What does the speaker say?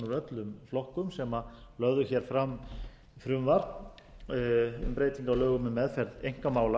öllum flokkum sem lögðu hér fram frumvarp um breytingu á lögum um meðferð einkamála